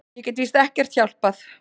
Ég get víst ekkert hjálpað.